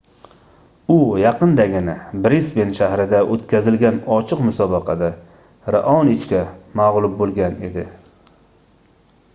u yaqindagina brisben shahrida oʻtkazilgan ochiq musobaqada raonichga magʻlub boʻlgan edi